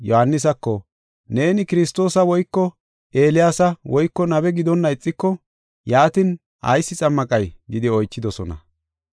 Yohaanisako, “Neeni Kiristoosa woyko Eeliyaasa woyko nabe gidonna ixiko, yaatin ayis xammaqay?” gidi oychidosona.